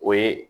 O ye